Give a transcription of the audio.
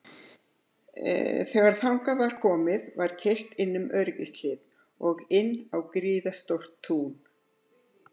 Þegar þangað var komið var keyrt inn um öryggishlið og inn á gríðarstórt tún.